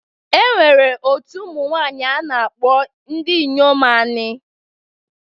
E nwere otu ụmụnwanyị a na-akpọ Ndiomu anị.